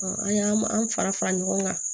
an y'an an fara fara ɲɔgɔn kan